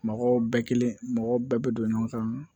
Mɔgɔw bɛɛ kelen mɔgɔ bɛɛ bɛ don ɲɔgɔn kan